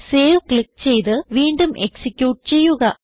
save click ചെയ്ത് വീണ്ടും execute ചെയ്യുക